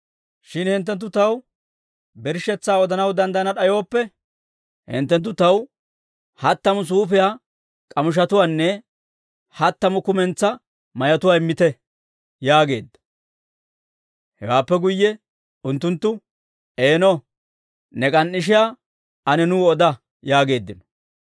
Shin hinttenttu taw birshshetsaa odanaw danddayana d'ayooppe, hinttenttu taw hattamu suufiyaa k'amishetuwaanne hattamu kumentsaa mayotuwaa immiita» yaageedda. Hewaappe guyye unttunttu, «Eeno, ne k'an"ishiyaa ane nuu oda» yaageeddino.